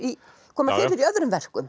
koma fyrir í öðrum verkum